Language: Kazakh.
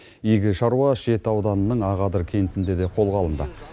игі шаруа шет ауданының ақадыр кентінде де қолға алынды